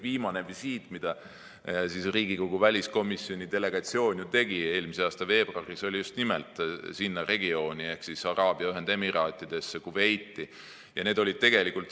Viimane visiit, mille Riigikogu väliskomisjoni delegatsioon tegi eelmise aasta veebruaris, oli just nimelt sinna regiooni ehk Araabia Ühendemiraatidesse ja Kuveiti.